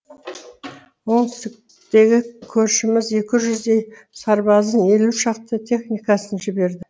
оңтүстіктіктегі көршіміз екі жүздей сарбазын елу шақты техникасын жіберді